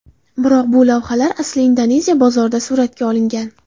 Biroq bu lavhalar aslida Indoneziya bozorida suratga olingan.